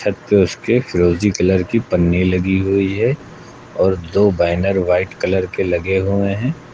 फिरोजी कलर की पन्नी लगी हुई है और दो बैनर व्हाइट कलर के लगे हुए हैं।